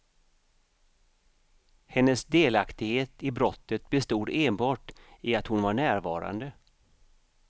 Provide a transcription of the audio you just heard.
Hennes delaktighet i brottet bestod enbart i att hon var närvarande.